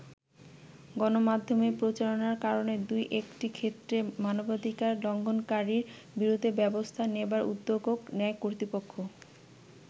গণমাধ্যমে প্রচারণার কারণে দুই একটি ক্ষেত্রে মানবাধিকার লঙ্ঘনকারীর বিরুদ্ধে ব্যবস্থা নেবার উদ্যোগও নেয় কর্তৃপক্ষ।